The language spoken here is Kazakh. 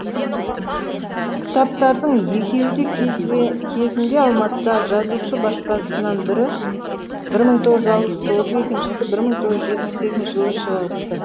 кітаптардың екеуі де кезінде алматыдағы жазушы баспасынан бірі бір мың тоғыз жүз алпыс тоғыз екіншісі бір мың тоғыз жетпіс екінші жылы шығыпты